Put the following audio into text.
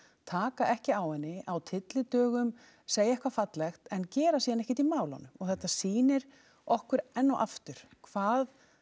taka ekki á henni á tyllidögum segja eitthvað fallegt en gera síðan ekkert í málunum og þetta sýnir okkur enn og aftur hvað